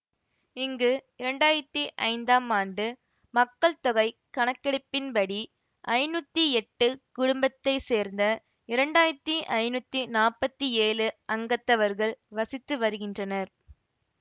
இங்கு இரண்டாயிரத்தி ஐந்தாம் ஆண்டு மக்கள் தொகை கணக்கெடுப்பின்படி ஐநூத்தி எட்டு குடும்பத்தை சேர்ந்த இரண்டாயிரத்தி ஐநூத்தி நாப்பத்தி ஏழு அங்கத்தவர்கள் வசித்து வருகின்றனர்